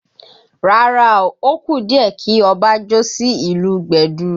Rárá o, ó kù díẹ̀ kí Ọba jó sí ìlù gbẹ̀du